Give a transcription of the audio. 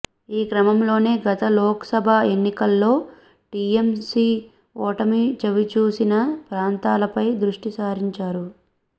ఈ క్రమంలోనే గత లోక్సభ ఎన్నికల్లో టీఎంసీ ఓటమి చవిచూసిన ప్రాంతాలపై దృష్టి సారించారు